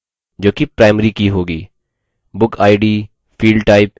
book id field type integer